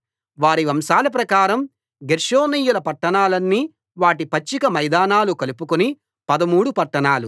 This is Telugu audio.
వారి వంశాల ప్రకారం గెర్షోనీయుల పట్టణాలన్నీ వాటి పచ్చిక మైదానాలు కలుపుకుని పదమూడు పట్టణాలు